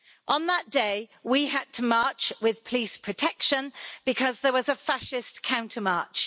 On that day we had to march with police protection because there was a fascist counter march.